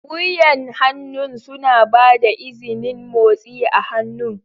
Wuyan hannu suna ba da izinin motsi a hannu.